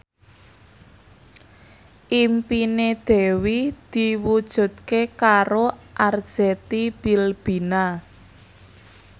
impine Dewi diwujudke karo Arzetti Bilbina